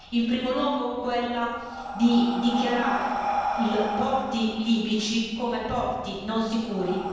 In primo luogo, quella di dichiarare i porti libici come porti non sicuri.